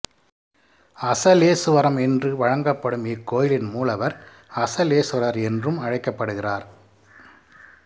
அசலேசுவரம் என்று வழங்கப்படும் இக்கோயிலின் மூலவர் அசலேசுவரர் என்றும் அழைக்கப்படுகிறார்